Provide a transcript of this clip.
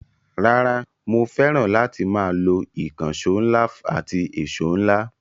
Rara, mo fẹ́ràn láti máa lo ìkànṣọ́ ńlá àti ẹ̀ṣo ńlá.